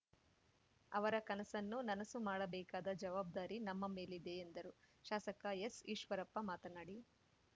ಅವರ ಕನಸನ್ನು ನನಸು ಮಾಡಬೇಕಾದ ಜವಾಬ್ದಾರಿ ನಮ್ಮ ಮೇಲಿದೆ ಎಂದರು ಶಾಸಕ ಎಸ್‌ಈಶ್ವರಪ್ಪ ಮಾತನಾಡಿ